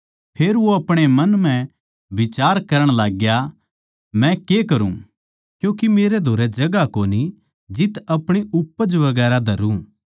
फेर वो अपणे मन म्ह बिचार करण लाग्या मै के करूँ क्यूँके मेरै धोरै जगहां कोनी जित अपणी उपज वैगरा धरुँ